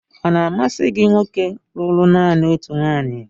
Ọ̀ na-amasị gị nwoke lụrụ nanị otu nwunye?